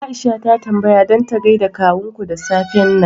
Aisha ta tambaya dan ta gaida kawunku da safen nan